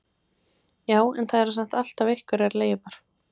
Já, en það eru samt alltaf einhverjar leifar.